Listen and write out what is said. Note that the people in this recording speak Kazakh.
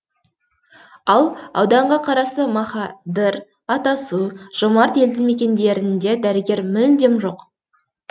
ал ауданға қарасты махадыр атасу жомарт елді мекендерінде дәрігер мүлдем жоқ